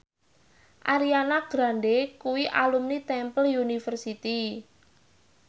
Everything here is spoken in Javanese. Ariana Grande kuwi alumni Temple University